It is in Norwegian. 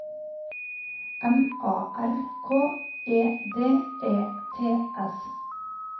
M A R K E D E T S